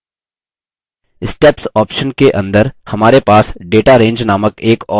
steps option के अंदर हमारे पास data range named एक और option है